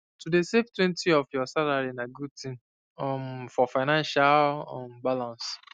to dey savetwentyof your salary na good thing um for financial um balance